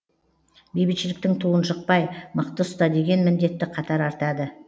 бейбітшіліктің туын жықпай мықты ұста деген міндетті қатар артады